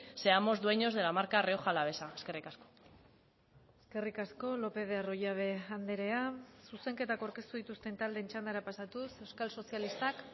seamos dueños de la marca rioja alavesa eskerrik asko eskerrik asko lópez de arroyabe andrea zuzenketak aurkeztu dituzten taldeen txandara pasatuz euskal sozialistak